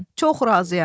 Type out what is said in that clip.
Çox razıyam.